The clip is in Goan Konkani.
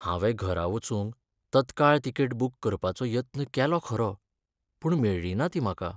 हांवें घरा वचूंक तत्काळ तिकेट बूक करपाचो यत्न केलो खरो पूण मेळ्ळी ना ती म्हाका.